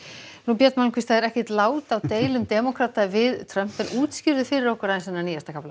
björn það er ekkert lát á deilum demókrata við Trump útskýrðu fyrir okkur þennan nýjasta kafla